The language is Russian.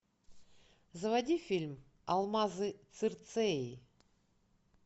заводи фильм алмазы цирцеи